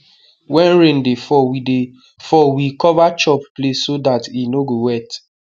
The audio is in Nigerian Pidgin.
when rain dey fall we dey fall we cover chop place so dat it no go wet